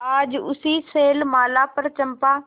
आज उसी शैलमाला पर चंपा